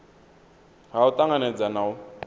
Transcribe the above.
ha u tanganedza na u